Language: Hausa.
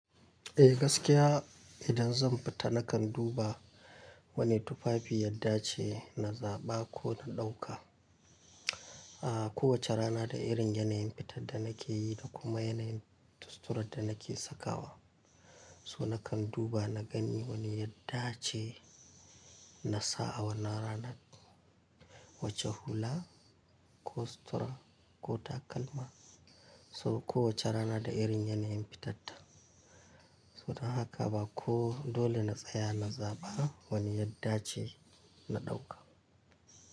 Eh gaskiya idan zan fita nakan duba wani tufafi yadda ce na zaɓa ko na ɗauka. A kowace rana da irin yanayin fitar da nake yi da kuma yanayin suturar da nake sakawa. So nakan duba na gani wani yadda ce na sa a wannan ranar, wacce hula ko sutura ko takalma. So kowace rana da irin yanayin fitarta. So don haka ba ko dole na tsaya na zaɓa wani yadda ce na ɗauka.